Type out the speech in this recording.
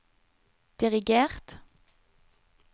dirigert